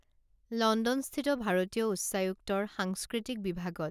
লণ্ডনস্থিত ভাৰতীয় উচ্চায়ুক্তৰ সাংস্কৃতিক বিভাগত